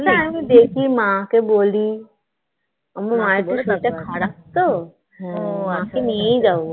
আচ্ছা আমি দেখি মাকে বলি আমার মায়ের শরীরটা খারাপ তো মাকে নিয়েই যাবো